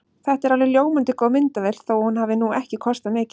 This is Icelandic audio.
Þetta er alveg ljómandi góð myndavél þó að hún hafi nú ekki kostað mikið.